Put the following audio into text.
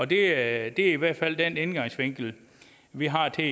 det er i hvert fald den indgangsvinkel vi har til